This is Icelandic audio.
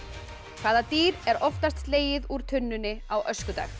hvaða dýr er oftast slegið úr tunnunni á öskudag